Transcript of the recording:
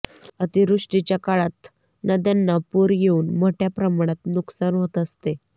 अतिवृष्टीच्या काळात नद्यांना पूर येऊन मोठ्या प्रमाणात नुकसान होत असते